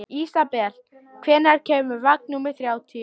Ísabel, hvenær kemur vagn númer þrjátíu?